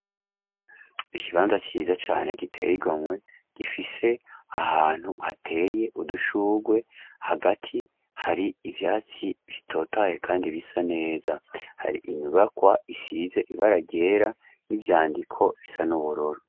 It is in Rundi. Ikibanza cyiza cane giteye igonywe gifise ahantu hateye udushugwe hagati hari ibyatsi bitotaye kandi bisa neza hari inyubakwa isize ibaragera n'ibyandiko bisa n'uburoro.